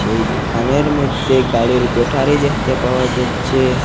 এই দোকানের মধ্যে গাড়ির ব্যাটারি দেখতে পাওয়া যাচ্ছে।